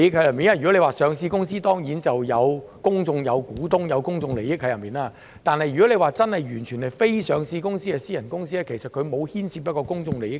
如果是一間上市公司，當然會有公眾股東，會涉及公眾利益，但如果完全是非上市公司，是私人公司，其實當中沒有牽涉公眾利益。